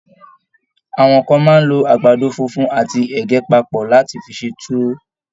Àwọn kán máa n lọ àgbàdo fúnfún àti ẹgẹ papọ láti fí ṣe tuwo.